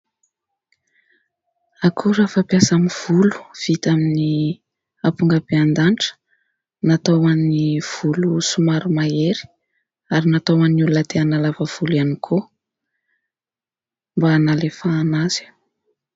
Akora fampiasa amin'ny volo vita amin'ny ampongabendanitra ; natao an'ny volo somary mahery ary natao an'ny olona te-hanalava volo ihany koa mba hanalefahana azy.